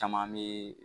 Caman bɛ